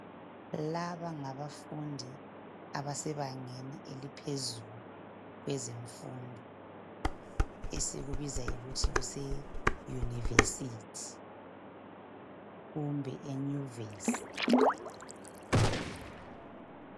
Laba ngabafundi abasebangeni eliphezulu kwezemfundo esikubiza ngokuthi Kise yunivesithi kumbe eyunivesi